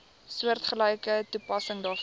soortgelyke toepassing daarvoor